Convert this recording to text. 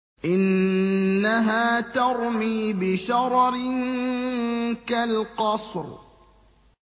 إِنَّهَا تَرْمِي بِشَرَرٍ كَالْقَصْرِ